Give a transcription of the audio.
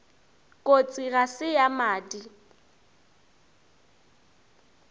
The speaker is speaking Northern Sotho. kotsi ga se ya madi